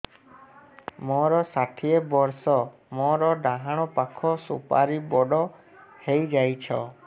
ମୋର ଷାଠିଏ ବର୍ଷ ମୋର ଡାହାଣ ପାଖ ସୁପାରୀ ବଡ ହୈ ଯାଇଛ